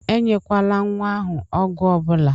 E nyekwala nwa ahụ ọgwụ ọbụla!